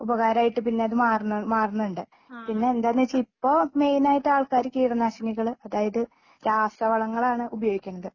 ഉപകാരമായിട്ട് പിന്നെ അത് മറണു മാറണുണ്ട്. പിന്നെ എന്താണെന്ന് വെച്ചാ ഇപ്പോ മെയിനായിട്ട് ആൾക്കാര് കീടനാശിനികള് അതായത് രാസവളങ്ങളാണ് ഉപയോഗിക്കണത്